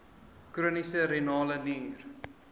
chroniese renale nier